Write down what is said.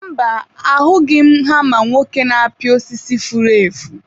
mba, ahụghị m hama nwoke na-apị osisi furu efu.